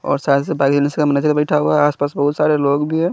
और मैनेजर बैठा हुआ है आस पास बहुत सारे लोग भी है।